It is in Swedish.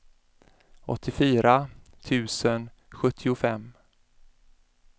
åttiofyra tusen sjuttiofem